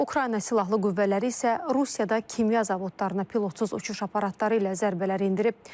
Ukrayna Silahlı Qüvvələri isə Rusiyada kimya zavodlarına pilotsuz uçuş aparatları ilə zərbələr endirib.